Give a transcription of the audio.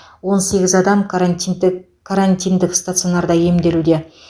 он сегіз адам карантидік карантиндік стационарда емделуде